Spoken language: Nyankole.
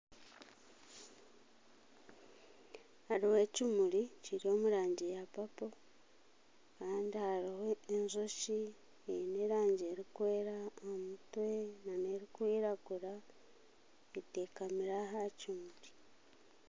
Hariho ekimuri Kiri omurangi ya papoKandi hariho enjoki eine erangi erukwera aha mutwe n'erikwiragura etekamire aha kimuri.